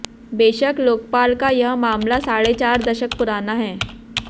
बेशक लोकपाल का यह मामला साढ़े चार दशक पुराना है